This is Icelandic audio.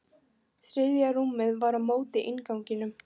Þriðja rúmið var á móti innganginum.